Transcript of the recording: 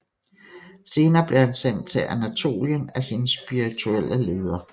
Senere blev han sendt til Anatolien af sine spirituelle leder